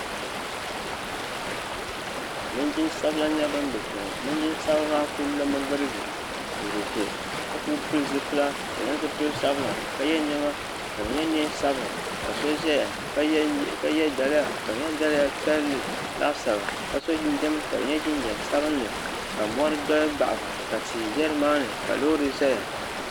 Linjin'sabila nyɛla ban be kpeŋɔ Linjin'sabila maa kuli lomi girigi n ʒɛ kpe ka kuli pili zipila ka di nyɛ zipil'sabila ka ye niɛma ka di nyɛ niɛn'sabila ka so zaya ka ye daliya ka di nyɛ daliya piɛlli laasabu ka so jinjiɛm ka di nyɛ jinjiɛm sabinli ka mori do m baɣiba ka tihi ʒɛ nimaani ka loori zaya.